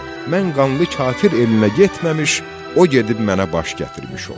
Mən Qanlı kafir elinə getməmiş o gedib mənə baş gətirmiş olsun.